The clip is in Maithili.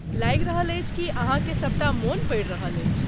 लागि रहल अछि कि अहाँकेँ सबटा मोन पड़ि रहल अछि।